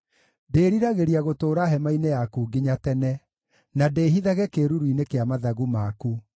Ndĩĩriragĩria gũtũũra hema-inĩ yaku nginya tene, na ndĩĩhithage kĩĩruru-inĩ kĩa mathagu maku.